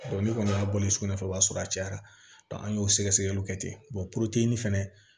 ne kɔni y'a bɔlen sukunɛ kɛ o b'a sɔrɔ a cayara an y'o sɛgɛsɛgɛliw kɛ ten puruke fɛnɛ